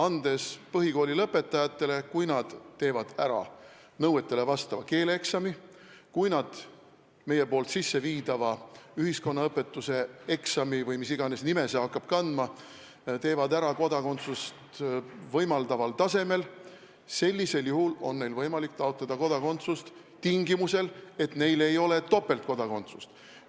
Kui põhikoolilõpetajad teevad ära nõuetele vastava keeleeksami ja kui nad meie sisseviidava ühiskonnaõpetuse eksami – või mis iganes nime see hakkab kandma – teevad ära kodakondsust võimaldaval tasemel, sellisel juhul on neil võimalik taotleda kodakondsust, seda tingimusel, et neil ei ole topeltkodakondsust.